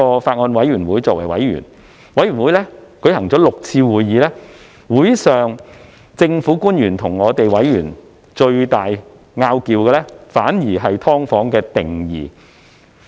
法案委員會曾舉行6次會議，會上與政府官員最大的爭議，反而是有關"劏房"的定義。